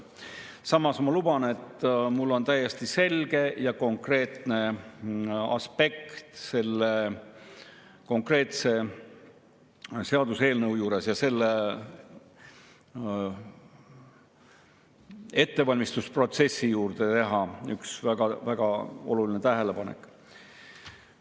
Samas ma luban, et lähenen täiesti selgest ja konkreetsest aspektist sellele seaduseelnõule, ka on mul selle ettevalmistusprotsessi kohta üks väga oluline tähelepanek.